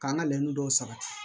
K'an ka lɛnni dɔw sabati